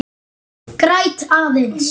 Græt aðeins.